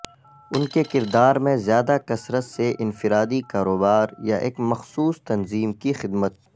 ان کے کردار میں زیادہ کثرت سے انفرادی کاروبار یا ایک مخصوص تنظیم کی خدمت